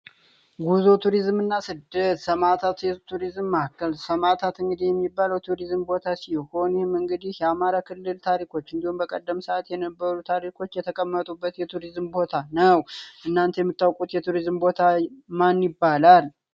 ጉዞ ቱሪዝም እና ስደት ሰማዕታት የቱሪዝም ማዕከል ሰማዕታት እንግዲህ የሚባለው የቱሪዝም ቦታ ሲሆን ይህም እንግዲህ የአማራ ክልል ታሪኮች እንዲሁም በቀደም የነበሩ ታሪኮች የተቀመጡበት የቱሪዝም ቦታ ነው። እናንተ የምታውቁት የቱሪዝም ቦታ ማን ይባላል?